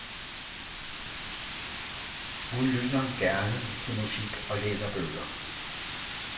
Hun lytter han gerne til musik og læser bøger.